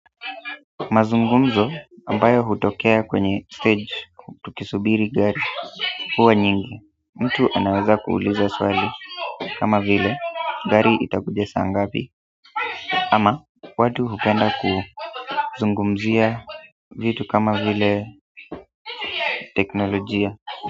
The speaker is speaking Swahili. Mazungumzo ambayo hutokea kwenye stage tukisubiri gari huwa nyingi mtu anaweza kuuliza swali kama vile gari itakuja saa ngapi ama watu hupenda kuzungumzia vitu kama vile teknolojia.